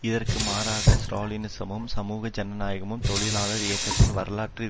இதற்கு மாறாக ஸ்ராலினிசமும் சமூக ஜனநாயகமும் தொழிலாளர் இயக்கத்தின் வரலாற்று